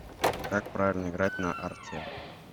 как правильно играть на арте